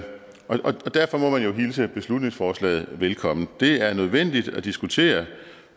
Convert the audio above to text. derfor må man jo hilse beslutningsforslaget velkommen det er nødvendigt at diskutere